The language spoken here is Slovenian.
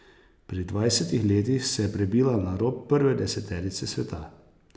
Pri dvajsetih letih se je prebila na rob prve deseterice sveta.